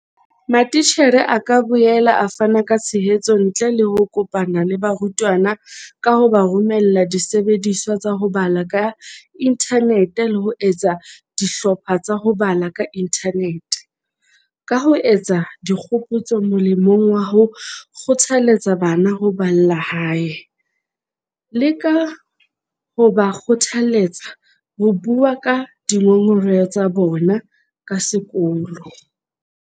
Matitjhere a ka boela a fana ka tshehetso ntle le ho kopana le barutwana ka ho ba romella disebediswa tsa ho bala ka inthanete le ho etsa dihlopha tsa ho bala ka inthanete, ka ho etsa dikgopotso molemong wa ho kgothaletsa bana ho balla hae, le ka ho ba kgothaletsa ho bua ka dingongoreho tsa bona ka sekolo.